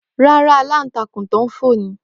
Ràrà, alantakun fo ni.